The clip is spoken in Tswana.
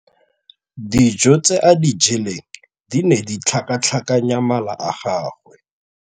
Dijô tse a di jeleng di ne di tlhakatlhakanya mala a gagwe.